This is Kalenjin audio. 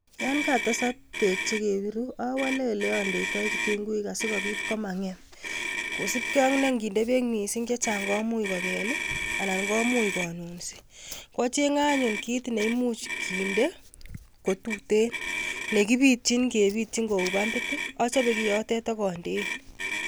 Yon katesak beek chekebiru owole oleondeitoi kitunguik asikobiit komangem, kosiibge ak ne inginde beek chechang missing komuch kobel I,anan komuch konunsii. Achenge anyun kit neimuch kinder kotuten, nekibityiin ak kebityiin kou pampit, achobe kiotet ak ondeen